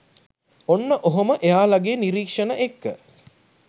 ඔන්න ඔහොම එයාලගේ නිරීක්‍ෂණ එක්ක